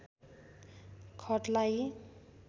खटलाई